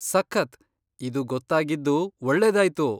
ಸಖತ್! ಇದು ಗೊತ್ತಾಗಿದ್ದು ಒಳ್ಳೇದಾಯ್ತು.